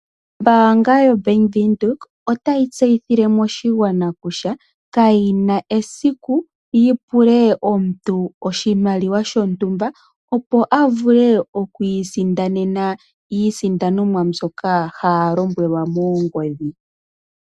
Ombaanga yaVenduka otayi tseyithile moshigwana kutya kayina esiku yipule omuntu oshimaliwa shontumba opo avule oku isindanena iisindanomwa mbyoka haya lombwelwa moongodhi.